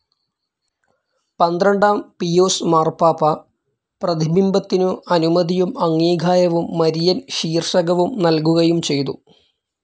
പന്ത്രണ്ടാം പീയൂസ് മാർപ്പാപ്പ പ്രതിബിംബത്തിനു അനുമതിയും അംഗീകാരവും മരിയൻ ശീർഷകവും നൽകുകയും ചെയ്തു.